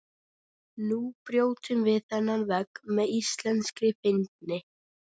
Nú brjótum við þennan vegg með íslenskri fyndni.